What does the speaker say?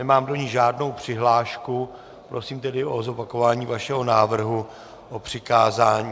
Nemám do ní žádnou přihlášku, prosím tedy o zopakování vašeho návrhu o přikázání.